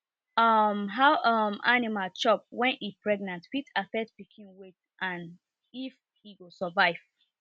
um how um animal chop when e pregnant fit affect pikin weight and if e go survive